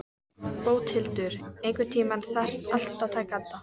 Bóthildur, einhvern tímann þarf allt að taka enda.